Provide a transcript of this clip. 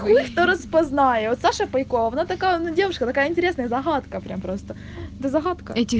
распознает саша пайков она такая девушка такая интересная загадка прямо просто